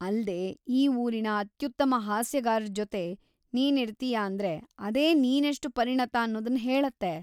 ಅಲ್ದೇ, ಈ ಊರಿನ ಅತ್ಯುತ್ತಮ ಹಾಸ್ಯಗಾರರ್ಜೊತೆ ನೀನಿರ್ತೀಯಾ ಅಂದ್ರೆ ಅದೇ ನೀನೆಷ್ಟು ಪರಿಣತ ಅನ್ನೋದನ್ನ ಹೇಳತ್ತೆ.